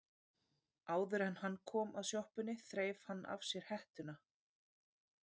Áður en hann kom að sjoppunni þreif hann af sér hettuna.